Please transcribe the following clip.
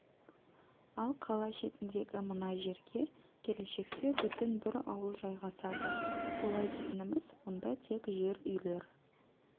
ал қала шетіндегі мына жерге келешекте бүтін бір ауыл жайғасады олай дейтініміз мұнда тек жер үйлер